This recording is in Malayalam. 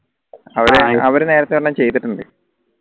അവരെ നേരത്തെ ഒരെണ്ണം ചെയ്തിട്ടുണ്ട്